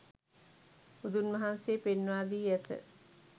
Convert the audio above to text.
බුදුන් වහන්සේ පෙන්වා දී ඇත.